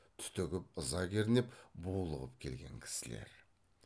түтігіп ыза кернеп булығып келген кісілер